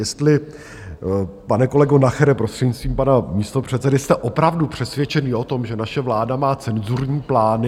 Jestli, pane kolego Nachere, prostřednictvím pana místopředsedy, jste opravdu přesvědčený o tom, že naše vláda má cenzurní plány?